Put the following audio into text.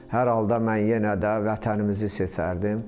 Hər halda mən yenə də vətənimizi seçərdim.